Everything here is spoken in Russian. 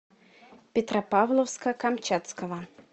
петропавловска камчатского